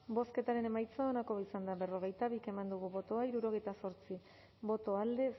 bozketaren emaitza onako izan da hirurogeita hamabost eman dugu bozka hirurogeita zortzi boto alde